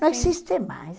Não existe mais.